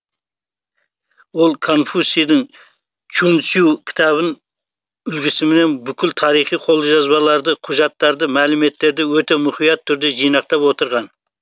ол конфуцийдің чуньцю кітабын үлгісімен бүкіл тарихи қолжазбаларды құжаттарды мәліметтерді өте мұқият түрде жинақтап отырған